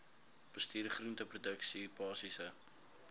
bestuur groenteproduksie basiese